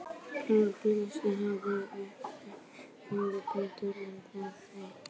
Rauðar ljóseindir halda stefnu upprunalega geislans betur en þær bláu.